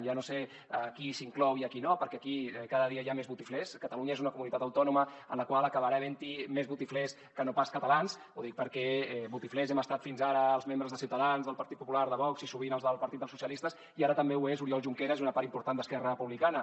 ja no sé a qui s’hi inclou i a qui no perquè aquí cada dia hi ha més botiflers catalunya és una comunitat autònoma en la qual acabarà haventhi més botiflers que no pas catalans ho dic perquè botiflers hem estat fins ara els membres de ciutadans del partit popular de vox i sovint els del partit dels socialistes i ara també ho són oriol junqueras i una part important d’esquerra republicana